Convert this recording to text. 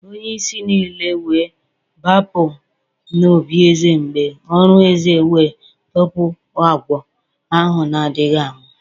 Onye-isi nile we b͕apu n'obí eze mb͕e orù eze we tọpu agwọ ahu nādighi anwu